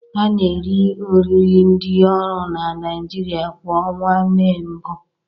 A na eri oriri ndị ọrụ n'Naijiria kwa ọnwa Mee mbụ